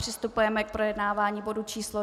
Přistupujeme k projednávání bodu číslo